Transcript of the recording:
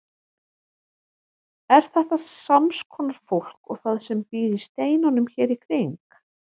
Er þetta sams konar fólk og það sem býr í steinunum hér í kring?